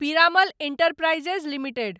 Piramal enterprises limited